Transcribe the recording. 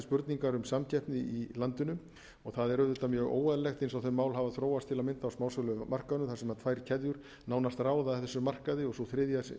spurningar um samkeppni í landinu og það er auðvitað mjög óeðlilegt eins og þessi mál hafa þróast til að mynda á smásölumarkaðnum þar sem tvær keðjur nánast ráða þessum markaði og sú þriðja